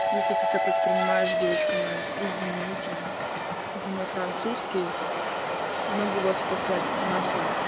если ты так воспринимаешь девочка моя извините за мой французский могу вас послать нахуй